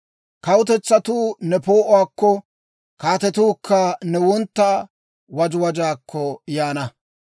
Kawutetsatuu ne poo'uwaakko, kaatetuukka ne wontta wajajjaakko yaana.